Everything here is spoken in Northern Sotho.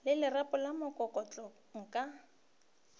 le lerapo la mokokotlo nka